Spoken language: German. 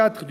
Page 4